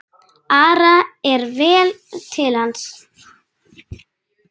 Ara er vel til hans.